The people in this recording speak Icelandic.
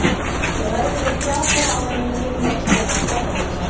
Ég ræði við þrjá þeirra áður en ég finn loks Borgarbókasafnið.